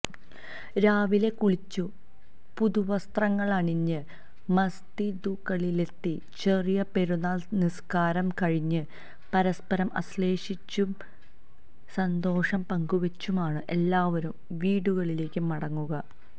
രാവിലെ കുളിച്ചു പുതുവസ്ത്രങ്ങളണിഞ്ഞ് മസ്ജിദുകളിലെത്തി ചെറിയ പെരുന്നാള് നിസ്കാരം കഴിഞ്ഞ് പരസ്പരം ആശ്ലേഷിച്ചും സന്തോഷം പങ്കുവെച്ചുമാണ് എല്ലാവരും വീടുകളിലേക്ക് മടങ്ങുക